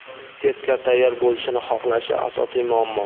testga tayyor bo‘lishini xohlashi – asosiy muammo.